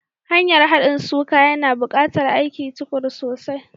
Hanyar haɗin suka, yana buƙatar aikin tuƙuru sosai.